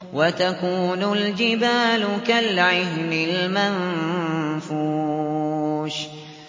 وَتَكُونُ الْجِبَالُ كَالْعِهْنِ الْمَنفُوشِ